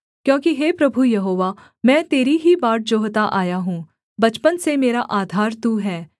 क्योंकि हे प्रभु यहोवा मैं तेरी ही बाट जोहता आया हूँ बचपन से मेरा आधार तू है